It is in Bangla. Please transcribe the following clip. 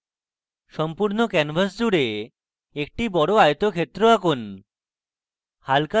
সম্পূর্ণ canvas জুড়ে একটি বড় আয়তক্ষেত্র আঁকুন